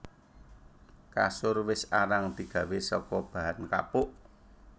Kasur wis arang digawé saka bahan kapuk